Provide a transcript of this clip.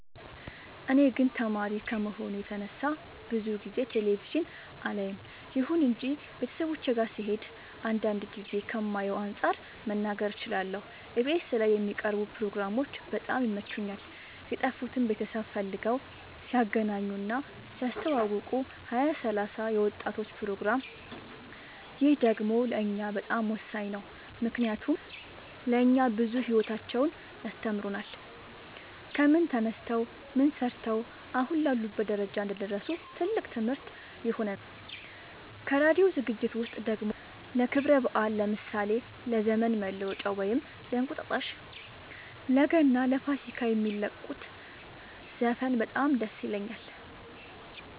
እኔ ግን ተማሪ ከመሆኔ የተነሳ ብዙ ጊዜ ቴሌቪዥን አላይም ይሁን እንጂ ቤተሰቦቼ ጋ ስሄድ አንዳንድ ጊዜ ከማየው አንፃር መናገር እችላለሁ ኢቢኤስ ላይ የሚቀርቡ ፕሮግራሞች በጣም ይመቹኛል የጠፉትን ቤተሰብ ፈልገው ሲያገናኙ እና ሲያስተዋውቁ ሀያ ሰላሳ የወጣቶች ፕሮግራም ይህ ደግሞ ለእኛ በጣም ወሳኝ ነው ምክንያቱም ለእኛ ብዙ ሂወታቸውን ያስተምሩናል ከምን ተነስተው ምን ሰርተው አሁን ላሉበት ደረጃ እንደደረሱ ትልቅ ትምህርት ይሆነናል ከራዲዮ ዝግጅት ውስጥ ደግሞ ለክብረ በአል ለምሳሌ ለዘመን መለወጫ ወይም እንቁጣጣሽ ለገና ለፋሲካ የሚለቁት ዘፈን በጣም ደስ ይለኛል